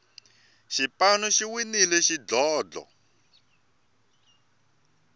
xipanu xi winile xidlodlo